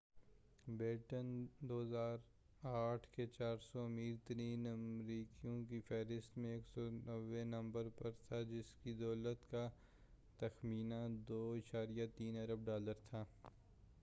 beaten 2008 کے 400 امیر ترین امریکیوں کی فہرست میں 190 نمبر پر تھا جس کی دولت کا تخمینہ 2.3 ارب ڈالر تھا